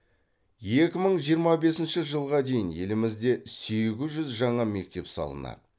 екі мың жиырма бесінші жылға дейін елімізде сегіз жүз жаңа мектеп салынады